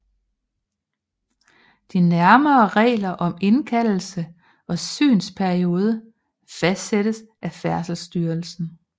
De nærmere regler om indkaldelse og synsperiode fastsættes af Færdselsstyrelsen